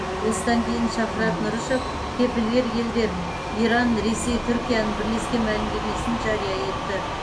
осыдан кейін шахрат нұрышев кепілгер елдер иран ресей түркияның бірлескен мәлімдемесін жария етті